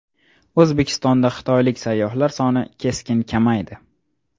O‘zbekistonda xitoylik sayyohlar soni keskin kamaydi .